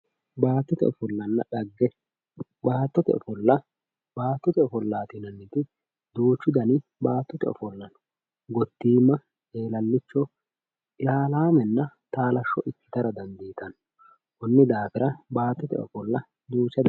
Baattote ofollanna dhagge, baattote ofolla, baattote ofolla yinanniti duuchu dani baattote ofolla no, gotima eelalicho ilalamenna taalasho ikkittara dandiittano koni daafira baattote ofolla.